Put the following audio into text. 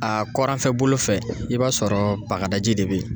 A kɔrɔnfɛ bolo fɛ, i b'a sɔrɔ bagadaji de bɛ ye.